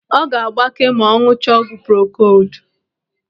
Ọ ga-agbake ma ọ ṅụchaa ọgwụ prokodu.